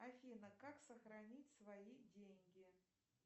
афина как сохранить свои деньги